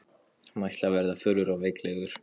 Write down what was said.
Hann ætlaði að verða fölur og veiklulegur.